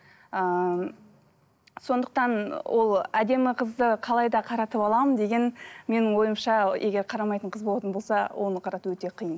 ыыы сондықтан ол әдемі қызды қалай да қаратып аламын деген менің ойымша егер қарамайтын қыз болатын болса оны қарату өте қиын